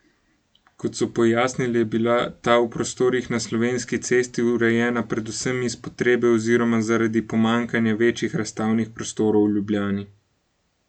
Kot so pojasnili, je bila ta v prostorih na Slovenski cesti urejena predvsem iz potrebe oziroma zaradi pomanjkanja večjih razstavnih prostorov v Ljubljani.